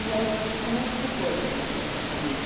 E aí, como é que ficou isso na na sua família?